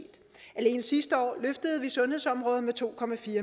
alene sidste år løftede vi sundhedsområdet med to